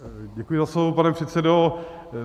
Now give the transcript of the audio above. Děkuji za slovo, pane předsedo.